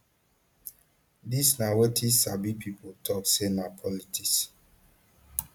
dis na wetin sabi pipo tok say na politics